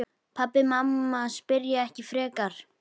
Pabbi og mamma spyrja ekki frekar.